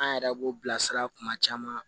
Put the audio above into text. An yɛrɛ b'o bilasira kuma caman